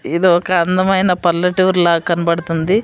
ఇది ఒక అందమైన పల్లెటూరు లా కనబడుతుంది.